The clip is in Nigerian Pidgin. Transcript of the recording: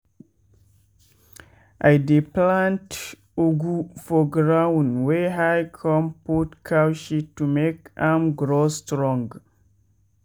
i [ dey plant ugwu for ground wey high con put cow shit to make am grow strong.